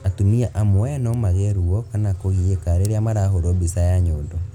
Atumia amwe no magĩe ruo kana kũgiĩka rĩrĩa marahũrwo mbica ya nyondo